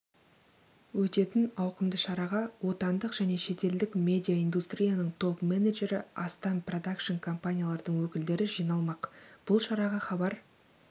өтетін ауқымды шараға отандық және шетелдік медиаиндустрияның топ-менеджері астам продакшн-компаниялардың өкілдері жиналмақ бұл шараға хабар